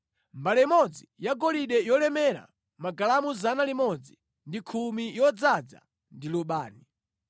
Mbale imodzi yagolide yolemera magalamu 110 yodzaza ndi lubani;